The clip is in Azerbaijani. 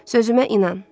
Sözümə inan.